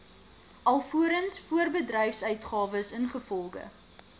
alvorens voorbedryfsuitgawes ingevolge